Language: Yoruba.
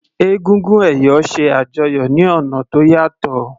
Egúngún ẹ̀yọ̀ ṣe àjọyọ̀ ní ọ̀nà tó yàtọ̀.